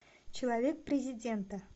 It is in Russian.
человек президента